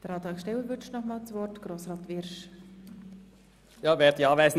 Der Antragssteller wünscht noch einmal das Wort.